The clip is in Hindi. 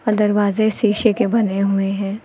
और दरवाजे शीशे के बने हुए हैं।